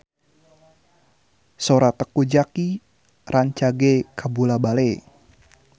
Sora Teuku Zacky rancage kabula-bale